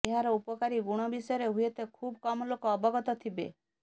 ଏହାର ଉପକାରୀ ଗୁଣ ବିଷୟରେ ହୁଏତ ଖୁବ୍ କମ୍ ଲୋକ ଅବଗତ ଥିବେ